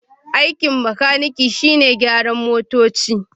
Aikin makaniki shine gyaran motoci.